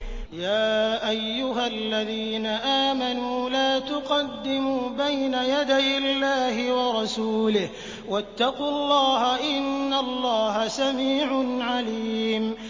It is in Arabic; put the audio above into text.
يَا أَيُّهَا الَّذِينَ آمَنُوا لَا تُقَدِّمُوا بَيْنَ يَدَيِ اللَّهِ وَرَسُولِهِ ۖ وَاتَّقُوا اللَّهَ ۚ إِنَّ اللَّهَ سَمِيعٌ عَلِيمٌ